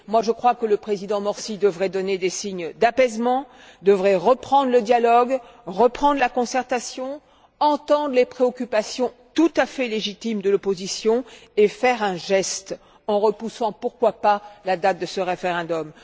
Je crois que le président Morsi devrait donner des signes d'apaisement, devrait reprendre le dialogue, reprendre la concertation, entendre les préoccupations tout à fait légitimes de l'opposition et faire un geste en repoussant, pourquoi pas, la date de ce référendum.